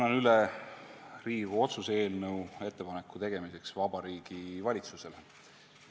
Annan üle Riigikogu otsuse eelnõu ettepaneku tegemiseks Vabariigi Valitsusele.